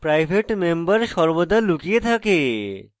private member সর্বদা লুকিয়ে থাকে